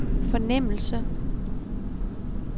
fornemmelse